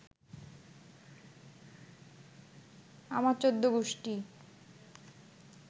আমার চৌদ্দগুষ্টি